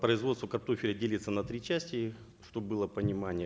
производство картофеля делится на три части чтобы было понимание